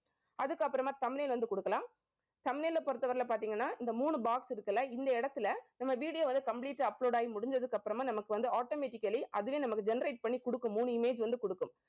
அதுக்கப்புறமா thumbnail வந்து குடுக்கலாம். thumbnail பொறுத்தவரையில பாத்தீங்கன்னா இந்த மூணு box இருக்குல்ல இந்த இடத்துல நம்ம video வந்து complete ஆ upload ஆகி முடிஞ்சதுக்கு அப்புறமா நமக்கு வந்து, automatically அதுவே நமக்கு generate பண்ணி குடுக்கும். மூணு image வந்து குடுக்கும்